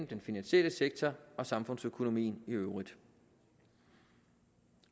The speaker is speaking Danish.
den finansielle sektor og samfundsøkonomien i øvrigt